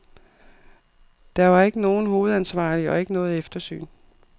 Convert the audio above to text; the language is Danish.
Der var ikke nogen hovedansvarlig og ikke noget eftersyn.